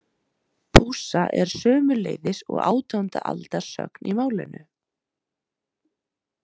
Pússa er sömuleiðis og átjánda aldar sögn í málinu.